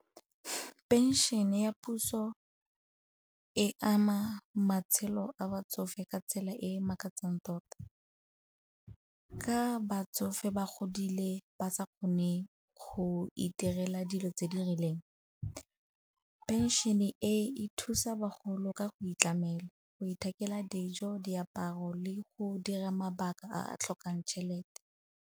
Phenšene ya puso e ama matshelo a batsofe ka tsela e e makatsang tota. Ka batsofe ba godile ba sa kgone go itirela dilo tse di rileng, phenšene e e thusa bagolo ka go itlamela, go ithekela dijo, diaparo le go dira mabaka a a tlhokang tšhelete.